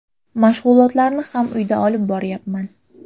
Mashg‘ulotlarni ham uyda olib boryapman.